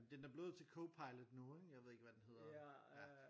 Den er blevet til Copilot nu ikke jeg ved ikke hvad den hedder ja